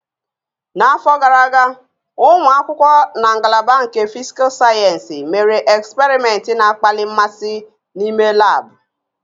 N'afọ gara aga, ụmụ akwụkwọ na ngalaba nke Fisical Sayensị mere eksperimentị na-akpali mmasị n'ime lab